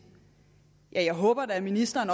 jeg håber da at ministeren